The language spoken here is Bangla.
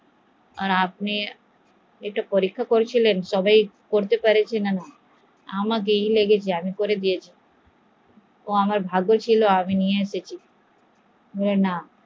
আর আপনি পরীক্ষা নিয়েছিলেন আমি করে দিয়েছি, ও আমার ভাগ্যে ছিল তাই আমি ওকে নিয়ে এসেছি